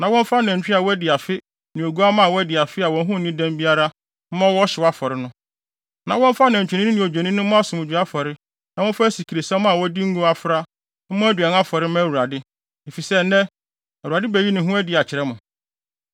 na wɔmfa nantwinini ne odwennini mmɔ asomdwoe afɔre na wɔmfa asikresiam a wɔde ngo afra mmɔ aduan afɔre mma Awurade, efisɛ nnɛ, Awurade beyi ne ho adi akyerɛ mo.”